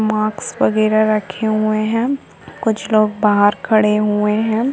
माक्स वगैरह रखे हुए हैं। हम कुछ लोग बाहर खड़े हुए हैं।